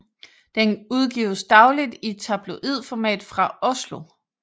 Den udgives dagligt i tabloidformat fra Oslo